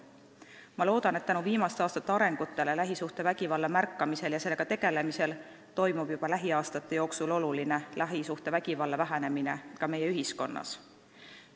Ma loodan, et tänu viimaste aastate arengutele lähisuhtevägivalla märkamisel ja sellega tegelemisel toimub juba lähiaastate jooksul oluline lähisuhtevägivalla vähenemine ka meie ühiskonnas.